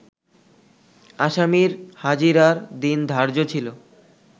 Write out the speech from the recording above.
আসামির হাজিরার দিন ধার্য ছিল